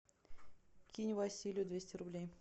кинь василию двести рублей